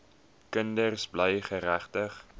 kinders bly geregtig